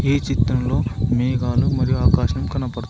ఈ చిత్రంలో మేఘాలు మరియు ఆకాశం కనబ--